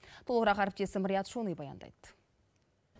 толығырақ әріптесім риат шони баяндайды